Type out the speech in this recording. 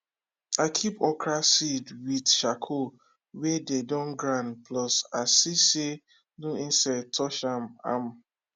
i keep okra seed with charcoal wey dey don grind plus i see say no insect touch ahm ahm